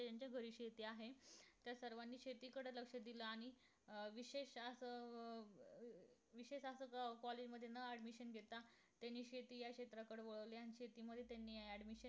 ज्यांच्या घरी शेती आहे तर सर्वानी शेतीकडे लक्ष दिल आणि अं विशेष असं अं विशेष असं अं college मध्ये न admission घेता त्यांनी शेती या क्षेत्रात कडे वळले आणि शेती मध्ये त्यांनी admission